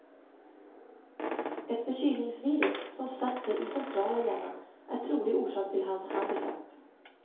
Ett förkylningsvirus som satt sig i centrala hjärnan är trolig orsak till hans handikapp.